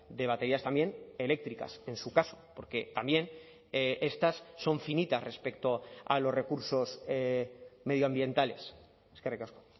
de baterías también eléctricas en su caso porque también estas son finitas respecto a los recursos medioambientales eskerrik asko